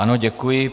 Ano, děkuji.